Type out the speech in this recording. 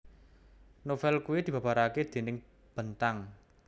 Novél kui dibabarake déning Bentang